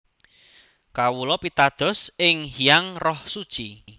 Kawula pitados ing Hyang Roh Suci